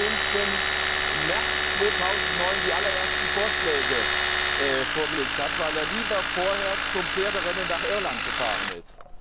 15.März2009 die allerersten Vorschläge vorgelegt hat, weil er lieber vorher zum Pferderennen nach Irland gefahren ist.